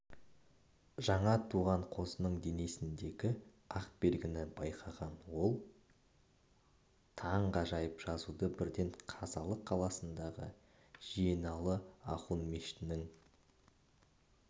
жаңа туған қозының денесіндегі ақ белгіні байқаған ол таңғажайып жазуды бірден қазалы қаласындағы жиеналы ахун мешітінің